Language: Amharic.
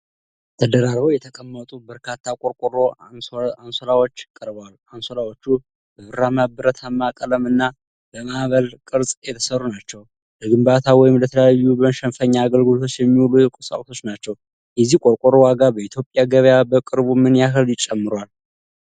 ተደራርበው የተቀመጡ በርካታ የቆርቆሮ አንሶላዎች ቀርበዋል። አንሶላዎቹ በብርማ ብረታማ ቀለም እና በማዕበል (Corrugated) ቅርጽ የተሠሩ ናቸው። ለግንባታ ወይም ለተለያዩ መሸፈኛ አገልግሎት የሚውሉ ቁሳቁስ ናቸው። የዚህ ቆርቆሮ ዋጋ በኢትዮጵያ ገበያ በቅርቡ ምን ያህል ጨምሯል?